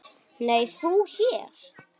Nei, þú hér?